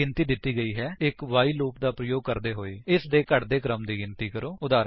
ਇੱਕ ਗਿਣਤੀ ਦਿੱਤੀ ਗਈ ਹੈ ਇੱਕ ਵਾਈਲ ਲੂਪ ਦਾ ਪ੍ਰਯੋਗ ਕਰਦੇ ਹੋਏ ਇਸਦੇ ਘਟਦੇਕ੍ਮ ਰਿਵਰਸ ਦੀ ਗਿਣਤੀ ਕਰੋ